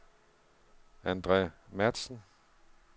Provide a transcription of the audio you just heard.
Andre Matzen